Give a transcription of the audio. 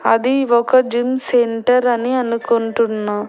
అది ఒక gym centre అని అనుకుంటున్నా.